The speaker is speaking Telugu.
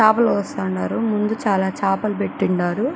చాపల కోస్తా ఉండారు ముందు చాలా చాపలు పెట్టిండారు.